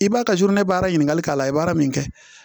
I b'a kɛ ne baara ɲiniŋali k'a la i ye baara min kɛ